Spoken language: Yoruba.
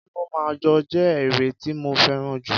Kí ma jó je ere ti mo feran jù